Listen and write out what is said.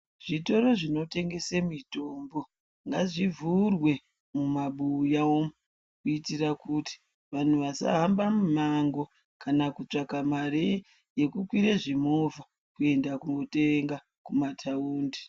Zvitoro zvinotengese mitombo ngazvivhurwe mumabuya umo, kuitira kuti wanhu wasahamba mumango kana kutsvaka mari yekukwira zvimovha kuenda kunotenga mumataundi.